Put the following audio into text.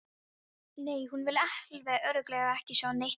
Nei, hún vill alveg örugglega ekki segja neitt við þig.